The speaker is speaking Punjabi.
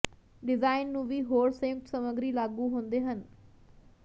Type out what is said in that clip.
ਡਿਜ਼ਾਇਨ ਨੂੰ ਵੀ ਹੋਰ ਸੰਯੁਕਤ ਸਮੱਗਰੀ ਲਾਗੂ ਹੁੰਦੇ ਹਨ